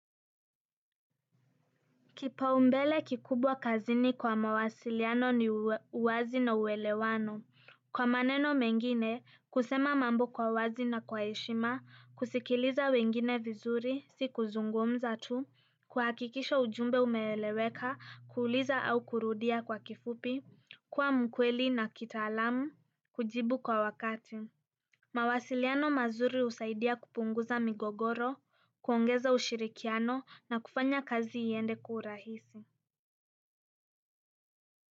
Kipaumbele kikubwa kazini kwa mawasiliano ni uwazi na uelewano. Kwa maneno mengine, kusema mambo kwa wazi na kwa heshima, kusikiliza wengine vizuri sio kuzungumza tu, kuhakikisha ujumbe umeeleweka, kuuliza au kurudia kwa kifupi kuwa mkweli na kitaalamu, kujibu kwa wakati. Mawasiliano mazuri husaidia kupunguza migogoro, kuongeza ushirikiano na kufanya kazi iende kwa urahisi.